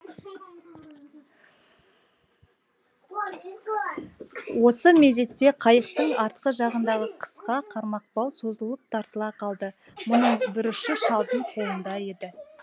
осы мезетте қайықтың артқы жағындағы қысқа қармақбау созылып тартыла қалды мұның бір ұшы шалдың қолында еді